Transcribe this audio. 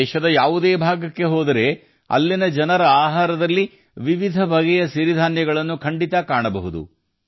ದೇಶದ ಯಾವುದೇ ಭಾಗಕ್ಕೆ ಹೋದರೆ ಅಲ್ಲಿನ ಜನರ ಆಹಾರದಲ್ಲಿ ವಿವಿಧ ಬಗೆಯ ಸಿರಿಧಾನ್ಯಗಳು ಖಂಡಿತ ಸಿಗುತ್ತವೆ